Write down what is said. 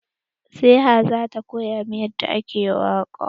Serah za ta koya min yadda ake waƙa.